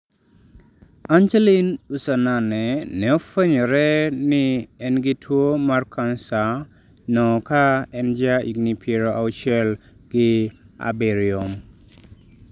Angeline Usanane ne ofwenyore ni en gi tuwo mar cancer no ka en ja higni piero auchiel ga birio